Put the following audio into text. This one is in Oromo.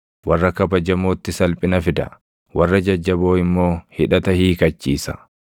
Warra kabajamootti salphina fida; warra jajjaboo immoo hidhata hiikachiisa.